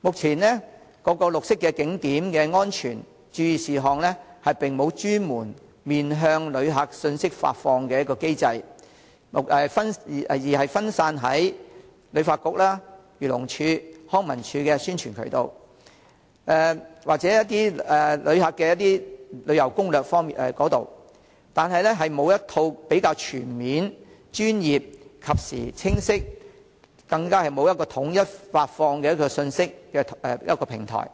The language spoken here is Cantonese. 目前各綠色景點的安全、注意事項並無專門面向遊客的信息發放機制，分散在旅發局、漁農自然護理署、康樂及文化事務署的宣傳渠道，以及遊客所寫的旅遊攻略，並沒有一套全面、專業、及時、清晰、統一的信息發放平台，